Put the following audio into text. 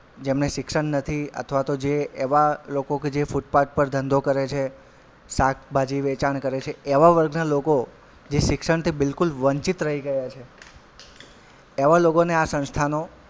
જેમને શિક્ષણ નથી અથવા તો જે એવાં લોકો કે જે ફૂટપાથ પર ધંધો કરે છે શાકભાજી વેચાણ કરે છે એવાં વર્ગના લોકો જે શિક્ષણથી બિલકુલ વંચિત રહી ગયાં છે એવાં લોકોને આ સંસ્થાનો,